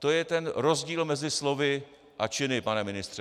To je ten rozdíl mezi slovy a činy, pane ministře.